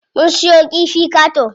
Mun siyo kifi qato.